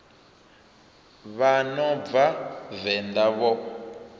vha no bva venḓa vho